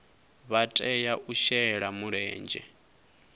vha tea u shela mulenzhe